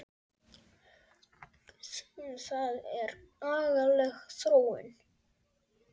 Það er agaleg þróun.